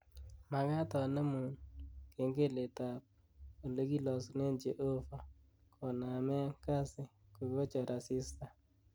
Magaat anemun kengeletab olegilosunen Jehovah konaemg Kasi kogachor asista